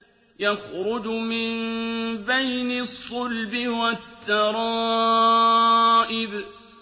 يَخْرُجُ مِن بَيْنِ الصُّلْبِ وَالتَّرَائِبِ